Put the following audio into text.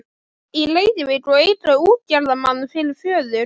í Reykjavík og eiga útgerðarmann fyrir föður.